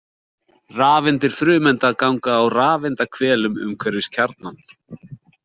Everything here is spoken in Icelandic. Rafeindir frumeinda ganga á rafeindaahvelum umhverfis kjarnann.